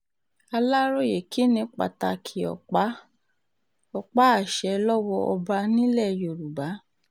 aláròye kí ni pàtàkì ọ̀pá-àṣẹ lọ́wọ́ ọba nílẹ̀ yorùbá